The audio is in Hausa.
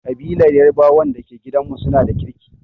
Ƙabilar yarbawan da ke gidanmu su na da kirki.